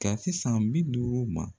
Ka se san bi duuru ma